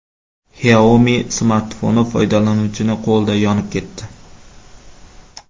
Xiaomi smartfoni foydalanuvchining qo‘lida yonib ketdi.